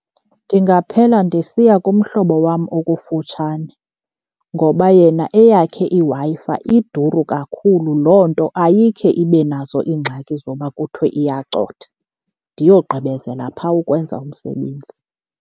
Ndingaphela ndisiya kumhlobo wam okufutshane ngoba yena eyakhe iWi-Fi iduru kakhulu, loo nto ayikhe ibe nazo iingxaki zoba kuthiwe iyacotha, ndiyogqibezela phaa ukwenza umsebenzi.